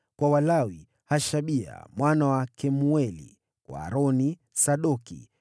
kwa Walawi: Hashabia mwana wa Kemueli; kwa Aroni: Sadoki;